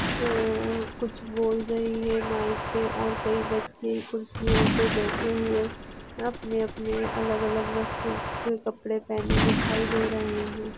रर कुछ बोल रही है माईक पे कई बच्चे खुर्चीयो पे बैठे हुये अपने अपने अलग अलग वस्तू ओ के कपडे पहने दिखाई दे रहे है।